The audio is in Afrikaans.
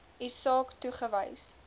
u saak toegewys